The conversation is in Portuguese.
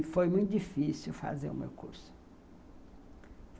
E foi muito difícil fazer o meu curso.